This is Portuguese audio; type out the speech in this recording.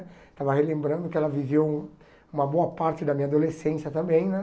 Estava relembrando que ela viveu uma boa parte da minha adolescência também, né?